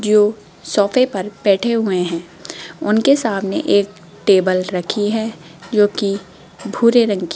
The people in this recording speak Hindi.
जो सोफे पर बैठे हुए है उनके सामने एक टेबल रखी हैं जोकि भूरे रंग कि --